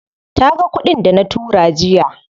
Taga kuɗin dana tura jiya.